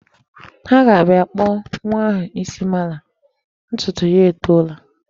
Ha ga-abịa kpụọ nwa ha isi malam, ntutu ya etoola.